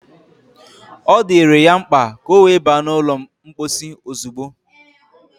Ọ dịrị ya mkpa ka ọ wee ba n’ụlọ mposi ozugbo